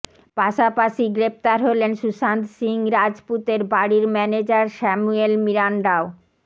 পাশাপাশি গ্রেফতার হলেন সুশান্ত সিং রাজপুতের বাড়ির ম্যানেজার স্যাম্যুয়েল মিরান্ডাও